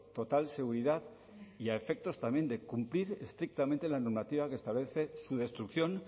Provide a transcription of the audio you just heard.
total seguridad y a efectos también de cumplir estrictamente la normativa que establece su destrucción